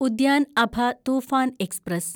Udyan Abha Toofan express